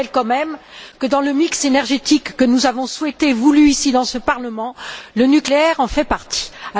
Je rappelle quand même que, dans le mix énergétique que nous avons souhaité, voulu, ici, dans ce Parlement, le nucléaire est présent.